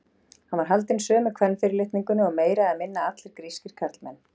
Hann var haldinn sömu kvenfyrirlitningunni og meira eða minna allir grískir karlmenn.